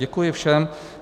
Děkuji všem.